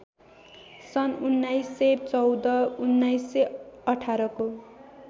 सन् १९१४ १९१८ को